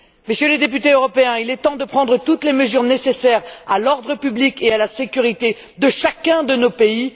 Mesdames et messieurs les députés européens, il est temps de prendre toute les mesures nécessaires à l'ordre public et à la sécurité de chacun de nos pays.